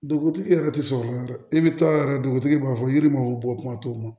Dugutigi yɛrɛ tɛ sɔn o ma dɛ i bɛ taa yɛrɛ dugutigi b'a fɔ yiri ma bɔ kuma t'o ma